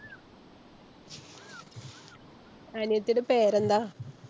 അനിയത്തിടെ പേര് എന്താ?